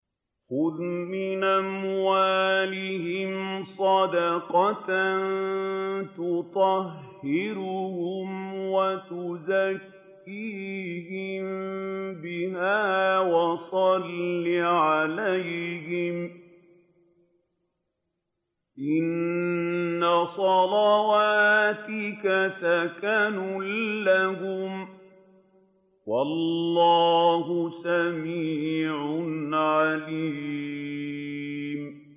خُذْ مِنْ أَمْوَالِهِمْ صَدَقَةً تُطَهِّرُهُمْ وَتُزَكِّيهِم بِهَا وَصَلِّ عَلَيْهِمْ ۖ إِنَّ صَلَاتَكَ سَكَنٌ لَّهُمْ ۗ وَاللَّهُ سَمِيعٌ عَلِيمٌ